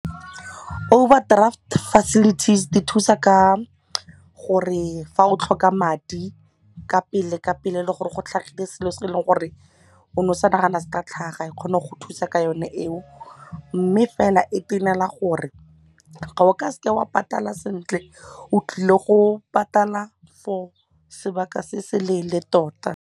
Overdraft facilities di thusa ka gore fa o tlhoka madi ka pele ka pele e le gore go tlhagile selo se e leng gore o ne o sa nagana se ka tlhaga e kgone go thusa ka yone eo mme fela e tenela gore ga o ka seke wa patala sentle o tlile go patala for sebaka se se leele tota.